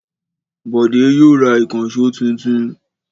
Bọ̀dé yóò ra ìkànṣó tuntun.